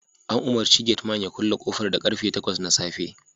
An umarci gate Man ya kulle kofar da karfe takwas na safe